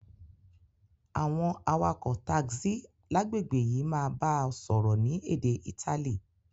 Àwon awakò taxi lágbègbè yi máa ba o sọ́rọ́ ni édé Itali